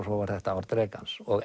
svo var þetta ár drekans og